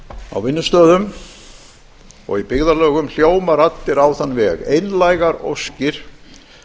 á vinnustöðum og í byggðarlögum hljóma raddir á þann veg það eru einlægar óskir